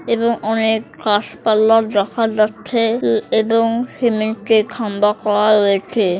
এবং অনেক গাছপালার যখন যাচ্ছে এ এবং সিমেন্টে -এর খাম্বা করার রয়েছে ।